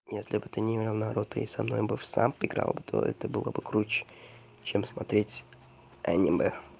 если бы ты не играл в наруто и со мной бы в самб играл то это было бы круче чем смотреть аниме